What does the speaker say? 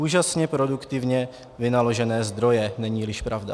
Úžasně produktivně vynaložené zdroje, není-liž pravda!